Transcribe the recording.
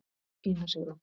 Ína Sigrún.